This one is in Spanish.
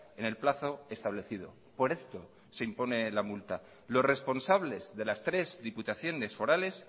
en el plazo establecido por esto se impone la multa los responsables de las tres diputaciones forales